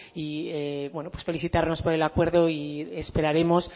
y bueno pues felicitarnos por el acuerdo y esperaremos